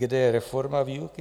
Kde je reforma výuky?